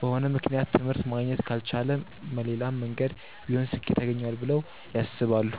በሆነ ምክንያት ትምህርት ማግኘት ካልቻለ መሌላም መንገድ ቢሆን ስኬት ያገኘዋል ብለው ያስባሉ።